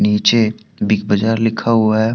नीचे बिग बाजार लिखा हुआ है।